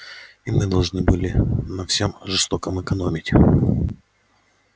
и мы должны были на всём жестоком экономить